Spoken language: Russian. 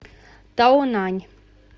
таонань